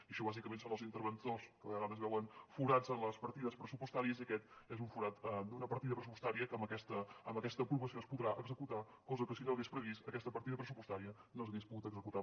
i això bàsicament són els interventors que a vegades veuen forats a les partides pressupostàries i aquest és un forat d’una partida pressupostària que amb aquesta aprovació es podrà executar cosa que si no s’hagués previst aquesta partida pressupostària no s’hagués pogut executar